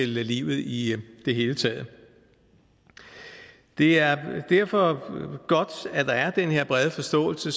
livet i det hele taget det er derfor godt at der er den her brede forståelse